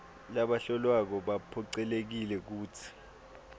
labahlolwako baphocelelekile kutsi